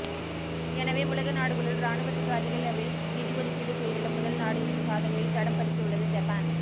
எனவே உலக நாடுகளுள் இராணுவத்துக்கு அதிகளவில் நிதி ஒதுக்கீடு செய்துள்ள முதல் நாடு எனும் சாதனையில் தடம் பதிக்கவுள்ளது ஜப்பான்